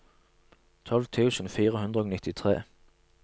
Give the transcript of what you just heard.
tolv tusen fire hundre og nittitre